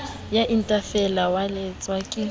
ya itefela wa eletswa ke